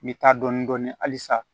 N bɛ taa dɔɔnin dɔɔnin halisa